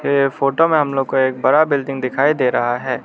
ये फोटो में हम लोग को एक बड़ा बिल्डिंग दिखाई दे रहा है।